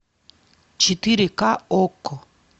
четыре ка окко